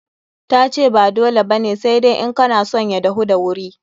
Ta ce ba dole ba ne, sai dai in kana son ya dahu da wuri.